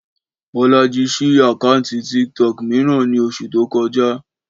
Bọ́lájí ṣí àkáǹtì TikTok mìíràn ní oṣù tó kọjá